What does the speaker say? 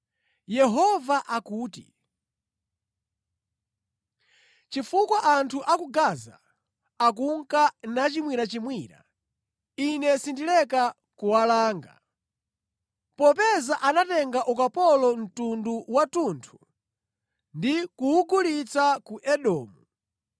Yehova akuti, “Chifukwa anthu a ku Gaza akunka nachimwirachimwira, Ine sindileka kuwalanga. Popeza anatenga ukapolo mtundu wathunthu ndi kuwugulitsa ku Edomu,